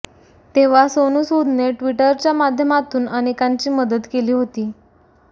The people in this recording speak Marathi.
तेव्हा सोनू सूदने ट्विटरच्या माध्यमातून अनेकांची मदत केली होती